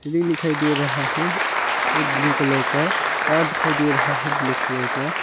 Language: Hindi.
श्री दिखाई दे रहा है ब्लू कलर का डॉट दिखाई दे रहा है ब्लैक कलर का।